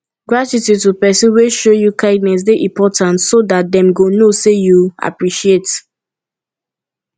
gratitude to persin wey show you kindness de important so that dem go know say you appreciate